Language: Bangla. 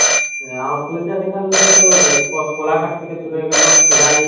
ফুল চাষ এখানে তো তোর কোলাঘাট থেকে শুরু হয়ে গেল খিরাই